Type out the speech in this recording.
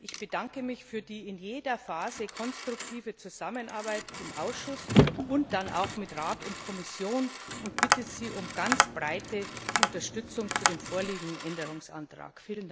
Ich bedanke mich für die in jeder Phase konstruktive Zusammenarbeit im Ausschuss und dann auch mit Rat und Kommission und bitte Sie um eine breite Unterstützung des vorliegenden Änderungsantrags.